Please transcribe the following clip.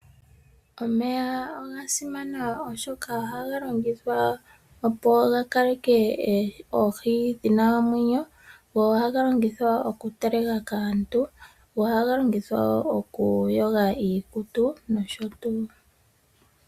Omeya oga simana oshoka ohaga longithwa opo ga kaleke oohi dhina omwenyo, go ohaga longithwa oku teleka kaantu, go ohaga longithwa wo oku yoga iikutu noshotu.